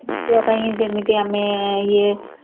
ପୁଅ ପାଇଁ ଯେମିତି ଆମେ ଇଏ